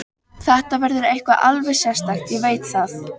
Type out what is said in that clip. Frekar en eigin rolugang og vesaldóm.